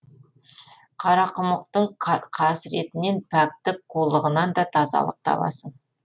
қарақұмықтың қасіретінен пәктік қулығынан да тазалық табасың